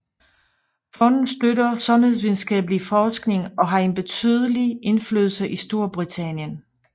Fondet støtter sundhedvidenskabelig forskning og har en betydelig indflydelse i Storbritannien